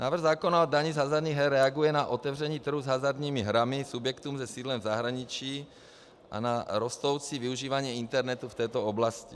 Návrh zákona o dani z hazardních her reaguje na otevření trhu s hazardními hrami subjektům se sídlem v zahraničí a na rostoucí využívání internetu v této oblasti.